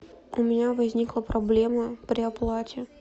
у меня возникла проблема при оплате